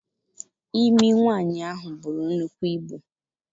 Imi nwaanyị ahụ buru nnukwu ibu.